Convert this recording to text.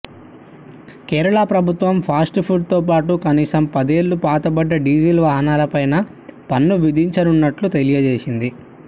కేరళ ప్రభుత్వం fast food తో్పాటు కనీసం పదేళ్లు పాతబడ్డ డీజిల్ వాహనాలపైనా పన్ను విధించనున్నట్లు తెలియజేసింది